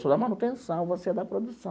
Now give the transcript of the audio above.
Sou da manutenção, você é da produção.